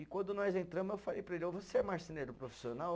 E quando nós entramos, eu falei para ele, você é marceneiro profissional?